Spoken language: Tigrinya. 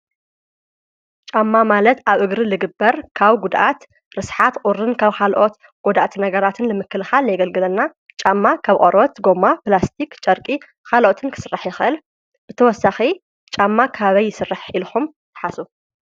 ጫማ ማለት ኣብ እግሪ ልግበር ካብ ጕድኣት፣ ርስሓት ፣ቑርን ካብ ኻልኦት ጐደአቲ ነገራት ንምክልኻል የገልግለና፡፡ ጫማ ካብ ቆርበት፣ ጐማ ኘላስቲኽ ፣ጨርቂ ኻልኦትን ክስራሕ ይኸእል ብተወሳኺ ጫማ ካበይ ይስርሕ ኢልኹም ትሓስቡ?